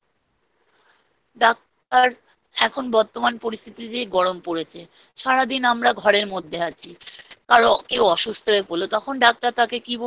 Doctor এখন বর্তমান পরিস্থিতিতে গরম পড়েছে। সারাদিন আমরা ঘরের মধ্যে আছি। কারণ কেউ অসুস্থ হয়ে পড়লে তখন